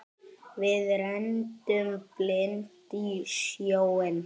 Við renndum blint í sjóinn.